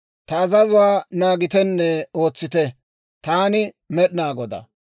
«Ta azazuwaa naagitenne ootsite. Taani Med'inaa Godaa.